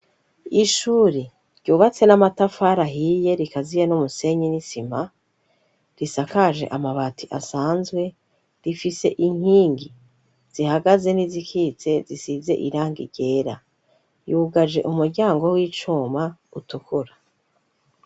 Ishuri ryubatse n'amatafari ahiye, rikaziye n'umusenyi n'isima, risakaje amabati asanzwe. Rifise inkingi zihagaze n'izikitse zisize irangi ryera. Yugaje umuryango w'icuma utukura.